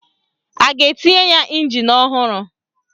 A ga-etinye ya ịnjin ọhụrụ?